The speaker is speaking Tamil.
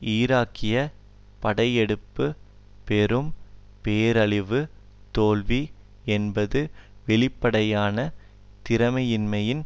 ஈராக்கிய படையெடுப்பு பெரும் பேரழிவுத் தோல்வி என்பதும் வெளிப்படையான திறமையின்மையின்